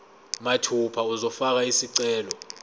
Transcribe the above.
mathupha uzofaka isicelo